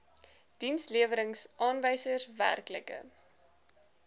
dienslewerings aanwysers werklike